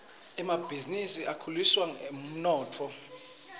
emabhizinisi akhulisa umnotfo